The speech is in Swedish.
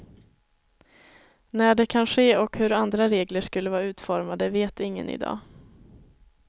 När det kan ske och hur andra regler skulle vara utformade vet ingen i dag.